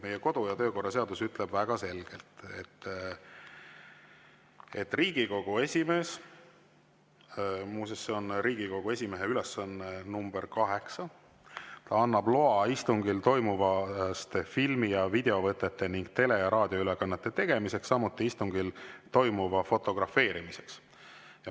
Meie kodu‑ ja töökorra seadus ütleb väga selgelt, et Riigikogu esimees – muuseas, see on Riigikogu esimehe ülesanne nr 8 – annab loa istungil toimuvast filmi- ja videovõtete ning tele- ja raadioülekannete tegemiseks, samuti istungil toimuva fotografeerimiseks.